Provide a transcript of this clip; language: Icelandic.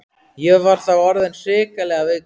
Ég var þá orðinn hrikalega veikur.